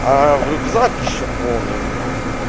аа рюкзак ещё полный у меня